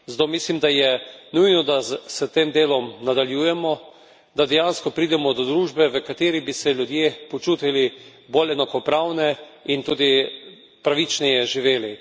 Zato mislim, da je nujno, da s tem delom nadaljujemo, da dejansko pridemo do družbe v kateri bi se ljudje počutili bolj enakopravne in tudi pravičneje živeli.